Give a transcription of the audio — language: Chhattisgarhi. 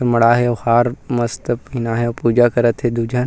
मड़ा हे अउ हार मस्त पहिना हे अउ पूजा करत हे दू झन--